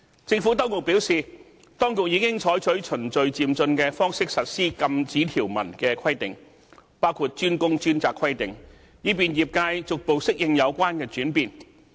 政府當局表示，當局已經採取循序漸進的方式實施禁止條文的規定，包括"專工專責"規定，以便業界逐步適應有關轉變。